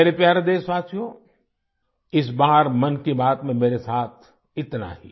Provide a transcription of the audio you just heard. मेरे प्यारे देशवासियो इस बार मन की बात में मेरे साथ इतना ही